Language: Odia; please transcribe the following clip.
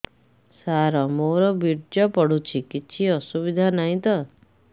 ସାର ମୋର ବୀର୍ଯ୍ୟ ପଡୁଛି କିଛି ଅସୁବିଧା ନାହିଁ ତ